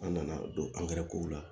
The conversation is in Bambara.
An nana don angɛrɛ kow la